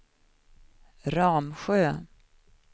Ramsjö